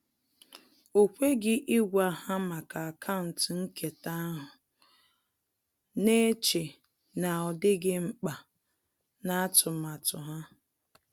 O kweghị ịgwa ha maka akaụntụ nketa ahụ, na-eche na ọ dịghị mkpa na atụmatụ ha